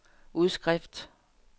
udskrift